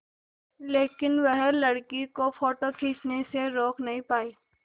लेकिन वह लड़की को फ़ोटो खींचने से रोक नहीं पाई